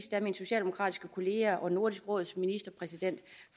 at min socialdemokratiske kollega og nordisk råds præsident